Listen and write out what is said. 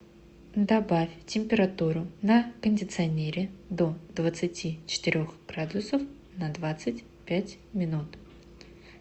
добавь температуру на кондиционере до двадцати четырех градусов на двадцать пять минут